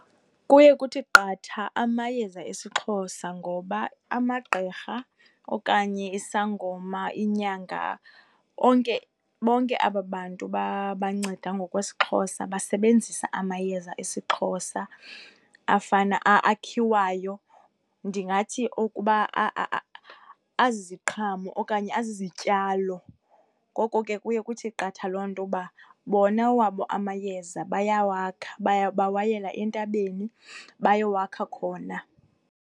Kuye kuthi qatha amayeza esiXhosa ngoba amagqirha okanye isangoma, inyanga, onke bonke aba bantu banceda ngokwesiXhosa basebenzisa amayeza esiXhosa afana akhiwayo. Ndingathi ukuba aziziqhamo okanye azizityalo. Ngoko ke kuye kuthi qatha loo nto uba bona awabo amayeza bayawakha bawayela entabeni bayowakha khona.